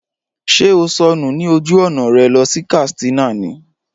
Ṣé o sọnù ní ojú ọ̀nà rẹ lọ sí Katsina ní?